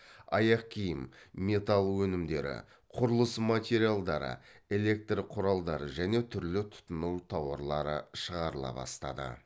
аяқ киім металл өнімдері құрылыс материалдары электр құралдары және түрлі тұтыну тауарлары шығарыла бастады